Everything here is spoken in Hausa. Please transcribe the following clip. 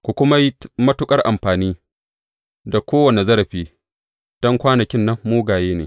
Ku kuma yi matuƙar amfani da kowane zarafi, don kwanakin nan mugaye ne.